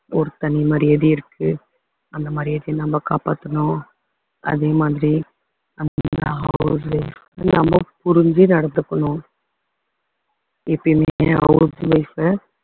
ஒரு தனி மரியாதை இருக்கு அந்த மரியாதைய நம்ம காப்பாத்தணும் அதே மாதிரி நம்ம நம்ம புரிஞ்சு நடந்துக்கணும் எப்பயுமே house wife அ